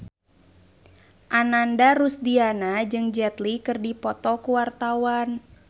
Ananda Rusdiana jeung Jet Li keur dipoto ku wartawan